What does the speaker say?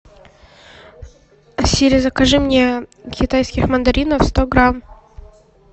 сири закажи мне китайских мандаринов сто грамм